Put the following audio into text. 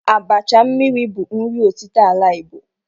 Abacha mmiri bụ nri ọtịta ala Igbo.